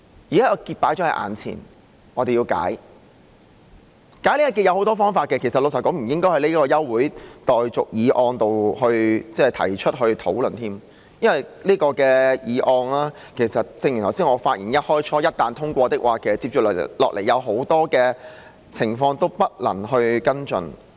現時這個結放在眼前，要把它解開，而解開這個結有很多方法，老實說，這並不應該在這項休會待續議案提出來討論，因為正如我在發言開首時所說，這項議案一旦通過，接下來有很多情況都不能夠跟進。